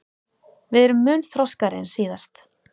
Við erum mun þroskaðri en síðast